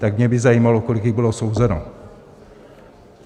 Tak by mě zajímalo, kolik jich bylo souzeno.